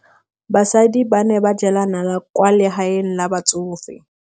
Basadi ba ne ba jela nala kwaa legaeng la batsofe.